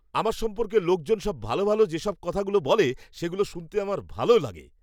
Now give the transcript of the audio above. আমার সম্পর্কে লোকজন সব ভালো ভালো যেসব কথা বলে সেগুলো শুনতে আমার ভালো লাগে।